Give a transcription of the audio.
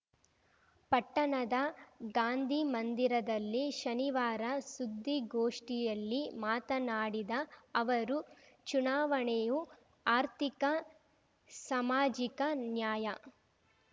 ಪಟ್ಟಣದ ಗಾಂಧಿಮಂದಿರದಲ್ಲಿ ಶನಿವಾರ ಸುದ್ದಿಗೋಷ್ಠಿಯಲ್ಲಿ ಮಾತನಾಡಿದ ಅವರು ಚುನಾವಣೆಯು ಆರ್ಥಿಕ ಸಾಮಾಜಿಕ ನ್ಯಾಯ